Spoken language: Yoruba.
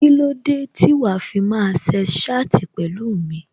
Kílódé tí wàá fi máa sex chat pẹ̀lú mi?